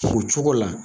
O cogo la